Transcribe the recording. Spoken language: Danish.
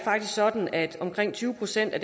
sådan at omkring tyve procent af